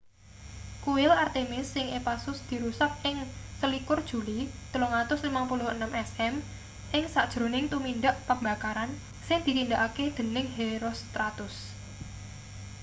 kuil artemis ing ephasus dirusak ing 21 juli 356 sm ing sajroning tumindak pembakaran sing ditindakake dening herostratus